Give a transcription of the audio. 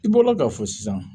I bɔla ka fɔ sisan